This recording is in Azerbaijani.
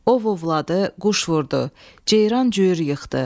Ov ovladı, quş vurdu, ceyran cüyür yıxdı.